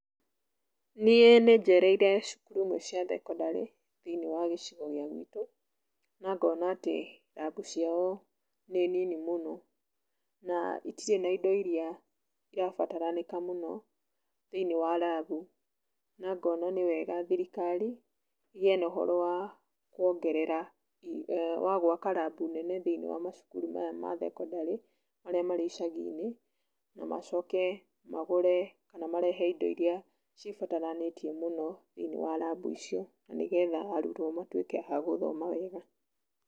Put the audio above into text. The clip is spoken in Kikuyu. Niĩ nĩnjereire cukuru imwe cia thekondarĩ, thĩiniĩ wa gĩcigo gĩa gwitũ, na ngona atĩ rambu ciao nĩ nini mũno na itirĩ na indo irĩa irabataranĩka mũno thĩiniĩ wa rambu, na ngona nĩwega thirikari, ĩgĩe na ũhoro wa kũongerera, wa gwaka rambu nene thĩiniĩ wa macukuru maya ma thekondarĩ marĩa marĩ icagi-inĩ, na macoke magũre, kana marehe indo iria cibataranĩtie mũno thĩiniĩ wa rambu icio, nĩgetha arutwo matuĩke a gũthoma wega.